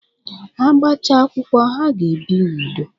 Ha gbachaa akwụkwọ, ha ga-ebi n'udo.